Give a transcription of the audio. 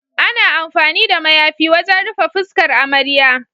Ana amfani da mayafi wajen rufe fuskar amarya.